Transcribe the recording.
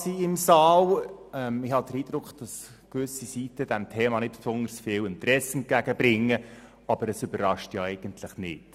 Ich habe den Eindruck, dass gewisse Leute diesem Thema nicht besonders viel Interesse entgegenbringen, aber es überrascht ja eigentlich nicht.